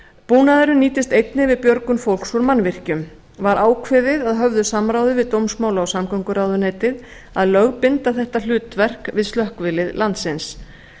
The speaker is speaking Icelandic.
búnaðurinn nýtist einnig við björgun fólks úr mannvirkjum var ákveðið að höfðu samráði við dómsmála og samgönguráðuneytið að lögbinda þetta hlutverk við slökkvilið landsins